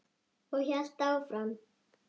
Og hélt áfram